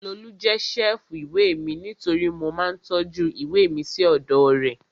Lolú jẹ́ ṣẹ́ẹ̀fù ìwé mi nítorí mo máa ń tọ́jú ìwé mi sí ọ̀dọ̀ rẹ̀